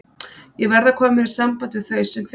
Ég verð að koma mér í samband við þau sem fyrst.